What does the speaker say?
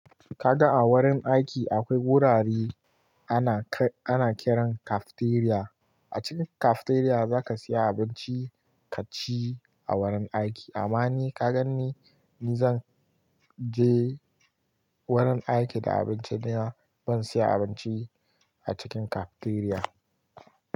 Kaga a wurin aiki akwai wurare ana ƙiran cafeteria. A cikin cafeteria zaka saya abinci ka ci a wurin aiki. Amma ni ka gan ni, ni zan je wurin aiki da abinci na, ban saya abinci a cikin cafeteria ba.